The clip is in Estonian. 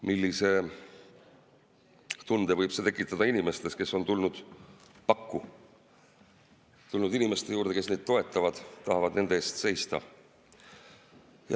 Millise tunde võib see tekitada inimestes, kes on tulnud pakku, tulnud inimeste juurde, kes neid toetavad, tahavad nende eest seista?